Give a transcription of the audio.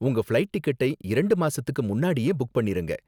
உங்க ஃப்ளைட் டிக்கெட்டை இரண்டு மாசத்துக்கு முன்னாடியே புக் பண்ணிருங்க.